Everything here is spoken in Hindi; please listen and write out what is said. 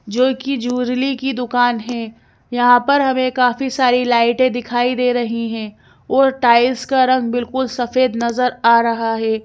जो कि जूरली की दुकान है यहां पर हमें काफ़ी सारी लाइटें दिखाई दे रही हैं और टाइल्स का रंग बिलकुल सफ़ेद नजर आ रहा है।